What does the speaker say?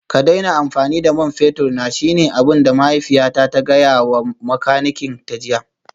Ka daina amfani da man fetur na shine abin da mahaifiyata ta gaya wa makanikin jiya